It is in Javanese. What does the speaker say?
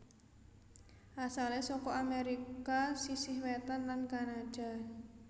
Asalé saka Amérika sisih wétan lan Kanada